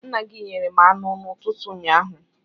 Nna gị nyere m anụ n'ụtụtụ ụnyaahụ.